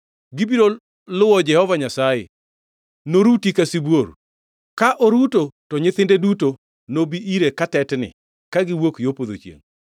Gibiro luwo Jehova Nyasaye, noruti ka sibuor. Kuruto, to nyithinde duto nobi ire katetni kagiwuok yo podho chiengʼ.